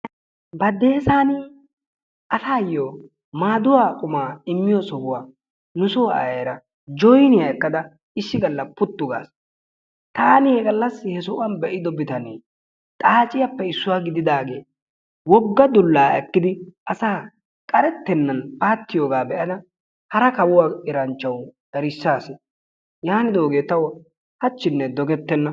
Badessan masuwaan qummaa immiyoosaa nu soo ayeera joyniyaa ekkada issi gallassi puttu gaas. Taani he gallasi he sohuwaan be'ido bitanee xaaciyaape issuwaa gididaagee wogga dullaa eekkidi asaa qaretenan paattiyoogaa be'ada hara kawuwaa eranchchawu erissaas. Yaanidoogee tawu haachinne dogettena.